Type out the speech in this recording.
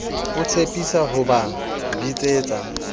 o tshepisa ho ba bitsetsa